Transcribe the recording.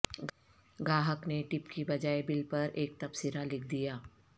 گاہک نے ٹپ کے بجائے بل پر ایک تبصرہ لکھ دیا